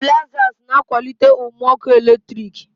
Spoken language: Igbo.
stabilizers na-akwalite ume ọkụ eletrik